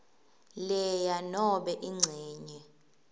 lea nobe incenye